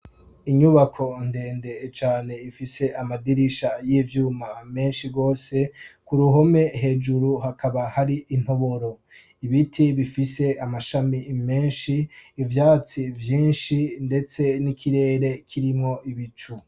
Inyubako ndende cane ifise amadirisha yivyuma menshi gose ku ruhome hejuru hakaba hari intoboro ibiti bifise amashami menshi ivyatsi vyinshi ndetse n'ikirere kirimwo ibicu.